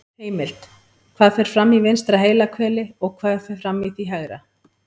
Heimild: Hvað fer fram í vinstra heilahveli og hvað fer fram í því hægra?